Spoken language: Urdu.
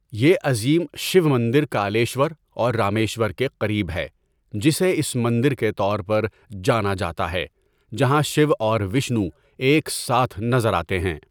یہ عظیم شیو مندر کالیشور اور رامیشور کے قریب ہے جسے اس مندر کے طور پر جانا جاتا ہے جہاں شیو اور وشنو ایک ساتھ نظر آتے ہیں.